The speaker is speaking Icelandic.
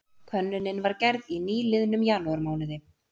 Könnunin var gerð í nýliðnum janúarmánuði